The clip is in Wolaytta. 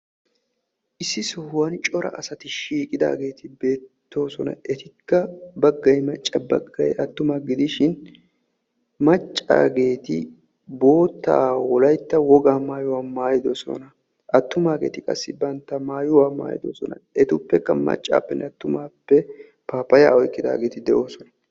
issi sohuwan cora asati eqqidaageeti beettoosona. etikka baggay macca baggay attuma gidishin maccaageeti boottaa wolaytta wogaa mayuwa mayyidosona. attumaageeti qassi bantta mayyuwa mayyidosona. etuppekka maccaageetuppe paappayaa oyiqqidaageeti de"oosona.